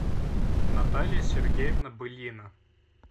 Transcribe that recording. наталья сергеевна былина